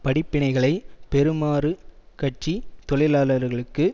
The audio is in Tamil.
படிப்பினைகளை பெறுமாறு கட்சி தொழிலாளர்களுக்கு